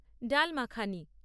ডাল মাখানি